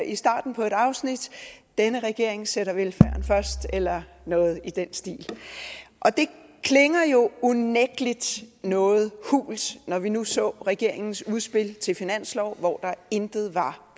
i starten på et afsnit denne regering sætter velfærden først eller noget i den stil det klinger jo unægtelig noget hult når vi nu så regeringens udspil til finanslov hvor der intet var